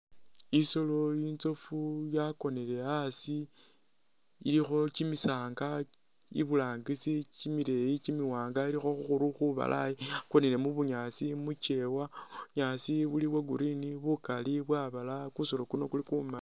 Isolo inzofu yakonile asi ilikho kimisanga iburangisi kimileeyi kimiwaanga ilikho khukhuru khubalayi yakonile mu bunyaasi mu kyeewa, bunyaasi buli bwa green bukali bwabalaya, kusolo kuli kumali.